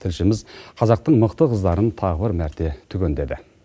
тілшіміз қазақтың мықты қыздарын тағы бір мәрте түгендеді